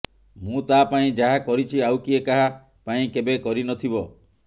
ମୁଁ ତା ପାଇଁ ଯାହା କରିଛି ଆଉ କିଏ କାହା ପାଇଁ କେବେ କରି ନଥିବ